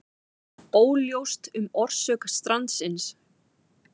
Óljóst um orsök strandsins